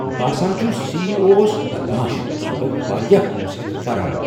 باسان چُھ سی ای او اوس بدمعاش تہٕ سُہ گوٚو واریاہ پونٛسہٕ ہیتھ فرار۔